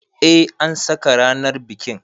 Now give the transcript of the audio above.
Eh an saka ranar bikin.